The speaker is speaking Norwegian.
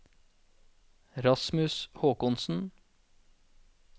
Rasmus Håkonsen